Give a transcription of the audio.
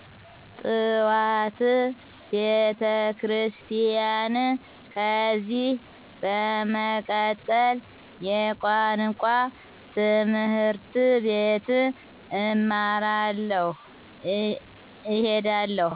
ጥዋት ቤተክሪስቲያን ከዚህ በመቀጠል የቋንቋ ት/ቤት እማራለሁ እሄዳለሁ